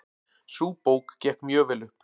Sú bók gekk mjög vel upp.